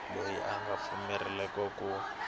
loyi a nga pfumeleriwa ku